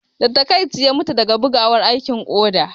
Da taƙaici, ya mutu daga bugawar aikin koda